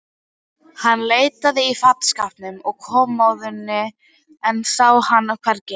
Hann leitaði í fataskápnum og kommóðunni, en sá hana hvergi.